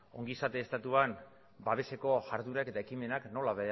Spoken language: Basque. ongizate estatuan babeseko jarduerak eta ekimenak nola